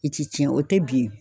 I ti cɛn o tɛ bin